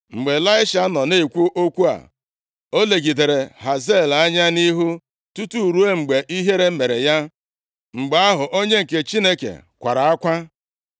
Mgbe Ịlaisha nọ na-ekwu okwu a, o legidere Hazael anya nʼihu tutu ruo mgbe ihere mere ya. Mgbe ahụ, onye nke Chineke kwara akwa.